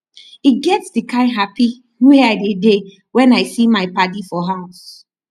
e get di kind hapi wey i dey dey wen i see my paddy for house